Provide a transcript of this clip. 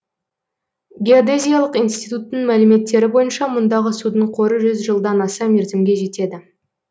геодезиялық институттың мәліметтері бойынша мұндағы судың қоры жүз жылдан аса мерзімге жетеді